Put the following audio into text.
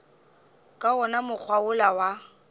ka wona mokgwa wola wa